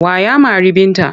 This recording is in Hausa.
Wa ya mari Binta?